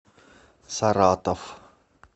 саратов